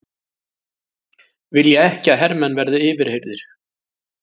Vilja ekki að hermenn verði yfirheyrðir